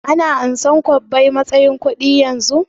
Ana amsar kwabbai matsayin kuɗi yanzu?